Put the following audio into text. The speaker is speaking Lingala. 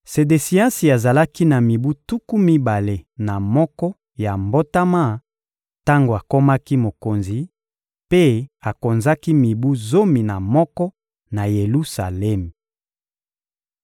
Sedesiasi azalaki na mibu tuku mibale na moko ya mbotama tango akomaki mokonzi, mpe akonzaki mibu zomi na moko na Yelusalemi.